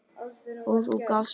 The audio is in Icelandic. Og þú gafst mér frið.